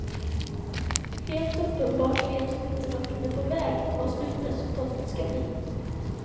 Helt uppenbart vet hon inte vart hon är på väg, vad slutresultatet ska bli.